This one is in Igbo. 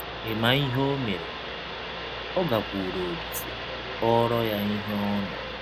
Ị̀ ma ihe ọ mere? — Ọ gakwụụrụ Ọlise kọọrọ ya ihe ọ nụrụ.